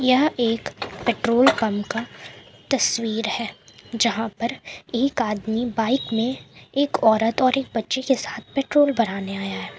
यह एक petrol pump का तस्वीर है जहां पर एक आदमी बाइक में एक औरत और एक बच्चे के साथ पेट्रोल भराने आया है।